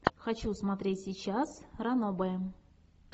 хочу смотреть сейчас ранобэ